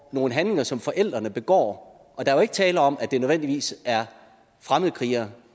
nogle handlinger som forældrene begår der er jo ikke tale om at det nødvendigvis er fremmedkrigere